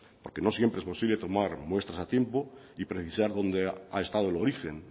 aunque no siempre es posible tomar muestras a tiempo y precisar dónde ha estado el origen